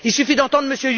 Il suffit d'entendre